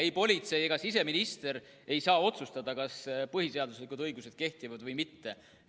Ei politsei ega siseminister ei saa otsustada, kas põhiseaduslikud õigused kehtivad või mitte.